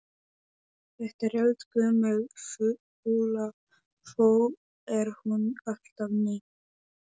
Þetta er eldgömul þula þó er hún alltaf ný.